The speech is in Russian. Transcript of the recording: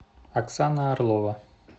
оксана орлова